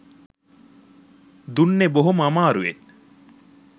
දුන්නේ බොහොම අමාරුවෙන්